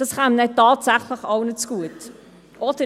Dies käme tatsächlich allen zugute.